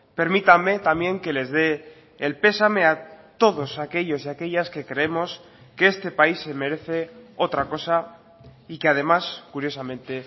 permítame también que les dé el pesame a todos aquellos y aquellas que creemos que este país se merece otra cosa y que además curiosamente